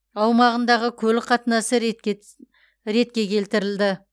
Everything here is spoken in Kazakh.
аумағындағы көлік қатынасы ретке келтірілді